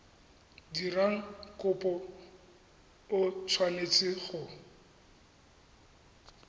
dirang kopo o tshwanetse go